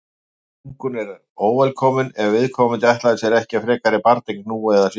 þungun er óvelkomin ef viðkomandi ætlaði sér ekki frekari barneign nú eða síðar